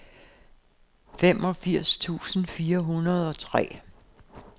femogfirs tusind fire hundrede og tre